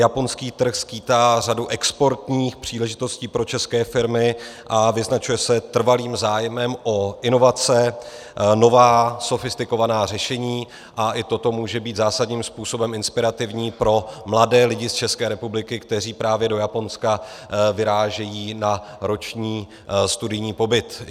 Japonský trh skýtá řadu exportních příležitostí pro české firmy a vyznačuje se trvalým zájmem o inovace, nová, sofistikovaná řešení a i toto může být zásadním způsobem inspirativní pro mladé lidi z České republiky, kteří právě do Japonska vyrážejí na roční studijní pobyt.